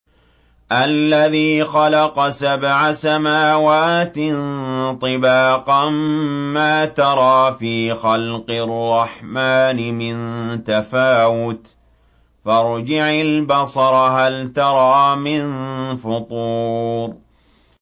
الَّذِي خَلَقَ سَبْعَ سَمَاوَاتٍ طِبَاقًا ۖ مَّا تَرَىٰ فِي خَلْقِ الرَّحْمَٰنِ مِن تَفَاوُتٍ ۖ فَارْجِعِ الْبَصَرَ هَلْ تَرَىٰ مِن فُطُورٍ